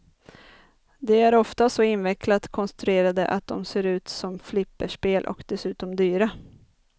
De är ofta så invecklat konstruerade att de ser ut som flipperspel och dessutom dyra.